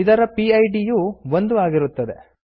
ಇದರ ಪಿಡ್ ಯು 1 ಆಗಿರುತ್ತದೆ